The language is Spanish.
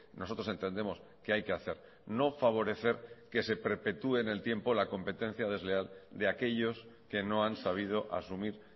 nosotros entendemos que hay que hacer no favorecer que se perpetúe en el tiempo la competencia desleal de aquellos que no han sabido asumir